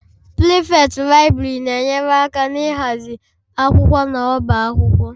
Prefect Library na-enyere aka n'ịhazi akwụkwọ n'ọbá akwụkwọ.